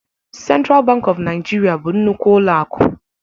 Central Bank of Nigeria bụ nnukwu ụlọ akụ